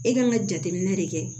E kan ka jateminɛ de kɛ